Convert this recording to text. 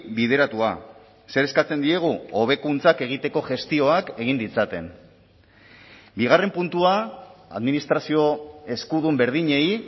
bideratua zer eskatzen diegu hobekuntzak egiteko gestioak egin ditzaten bigarren puntua administrazio eskudun berdinei